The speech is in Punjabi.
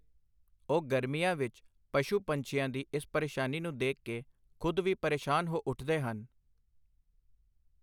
ਉਹ ਗਰਮੀਆਂ ਵਿੱਚ ਪਸ਼ੂ ਪੰਛੀਆਂ ਦੀ ਇਸ ਪਰੇਸ਼ਾਨੀ ਨੂੰ ਦੇਖ ਕੇ ਖ਼ੁਦ ਵੀ ਪਰੇਸ਼ਾਨ ਹੋ ਉੱਠਦੇ ਹਨ।